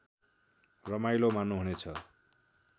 रमाइलो मान्नुहुनेछ